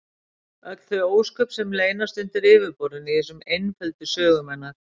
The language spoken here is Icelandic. Öll þau ósköp sem leynast undir yfirborðinu í þessum einföldu sögum hennar!